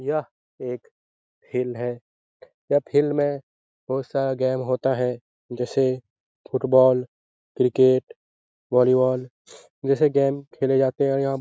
यह एक फील्ड है यह फील्ड में बहुत सारा गेम होता है जैसे फुटबॉल क्रिकेट वॉलीबॉल जैसे गेम खेले जाते हैं और यहाँ --